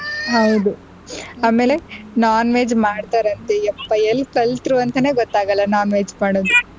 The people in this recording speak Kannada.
bgspeech ಹೌದು ಆಮೇಲೆ non-veg ಮಾಡ್ತಾರಂತೆ ಎಪ್ಪ ಎಲ್ ಕಲ್ತರು ಅಂತಾನೆ ಗೊತ್ತಾಗಲ್ಲ non-veg ಮಾಡೋದು.